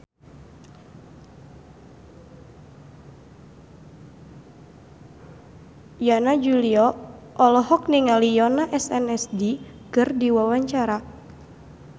Yana Julio olohok ningali Yoona SNSD keur diwawancara